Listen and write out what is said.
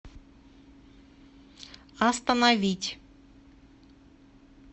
остановить